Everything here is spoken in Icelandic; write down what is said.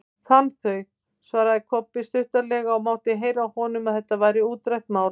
Fann þau, svaraði Kobbi stuttaralega og mátti heyra á honum að þetta væri útrætt mál.